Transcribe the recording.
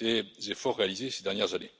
des efforts réalisés ces dernières années.